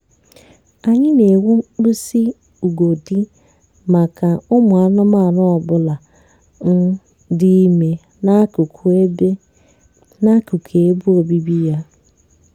anyị na-ewu mkpịsị ugodi maka ụmụ anụmanụ ọ bụla um dị ime n'akụkụ ebe n'akụkụ ebe obibi ya